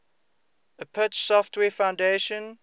apache software foundation